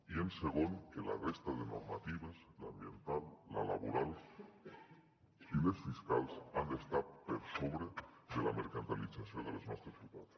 i segon que la resta de normatives l’ambiental la laboral i les fiscals han d’estar per sobre de la mercantilització de les nostres ciutats